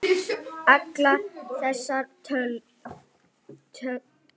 Allar þessar tölur.